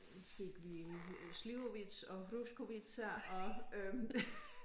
Fik vi Slivovica og Borovička og øh